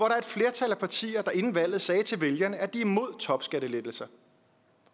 er et flertal af partier der inden valget sagde til vælgerne at de mod topskattelettelser